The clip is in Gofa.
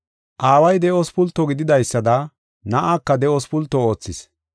Aaway de7os pulto gididaysada Na7aaka de7os pulto oothis.